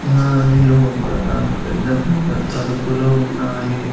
దాని లోపలపెద్ద పెద్ద తలుపులు ఉన్నాయి.